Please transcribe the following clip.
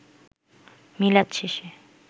মিলাদ শেষে